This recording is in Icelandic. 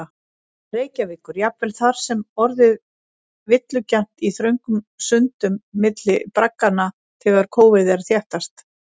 Reykjavíkur, jafnvel þar getur orðið villugjarnt í þröngum sundum milli bragganna þegar kófið er þéttast.